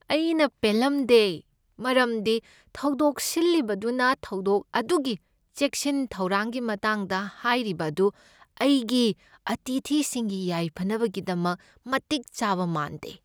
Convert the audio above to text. ꯑꯩꯅ ꯄꯦꯜꯂꯝꯗꯦ ꯃꯔꯝꯗꯤ ꯊꯧꯗꯣꯛ ꯁꯤꯜꯂꯤꯕꯗꯨꯅ ꯊꯧꯗꯣꯛ ꯑꯗꯨꯒꯤ ꯆꯦꯛꯁꯤꯟ ꯊꯧꯔꯥꯡꯒꯤ ꯃꯇꯥꯡꯗ ꯍꯥꯢꯔꯤꯕ ꯑꯗꯨ ꯑꯩꯒꯤ ꯑꯥꯇꯤꯊꯤꯁꯤꯡꯒꯤ ꯌꯥꯢꯐꯅꯕꯒꯤꯗꯃꯛ ꯃꯇꯤꯛ ꯆꯥꯕ ꯃꯥꯟꯗꯦ꯫